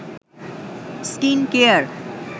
skin care